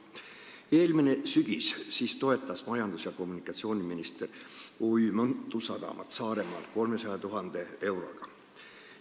Eelmisel sügisel toetas majandus- ja taristuminister Saaremaa OÜ-d Mõntu Sadam 300 000 euroga.